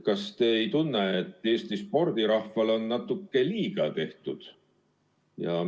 Kas te ei tunne, et Eesti spordirahvale on natuke liiga tehtud?